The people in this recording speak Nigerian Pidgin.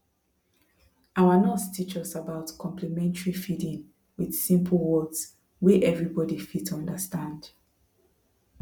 our nurse teach us about complementary feeding with simple words wey everybody fit understand